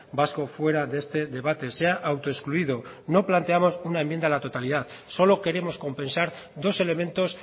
vasco fuera de este debate se ha autoexcluido no planteamos una enmienda a la totalidad solo queremos compensar dos elementos